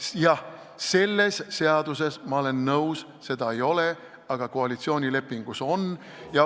Jah, selles seaduses – ma olen nõus – neid ei ole, aga koalitsioonilepingus on ja ...